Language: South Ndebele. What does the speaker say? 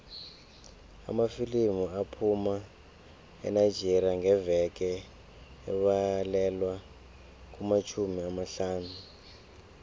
amafilimu aphuma enigeria ngeveke abalelwa kumatjhumi amahlanu